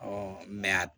mɛ a